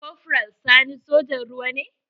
Kofral Sani sojan ruwa ne?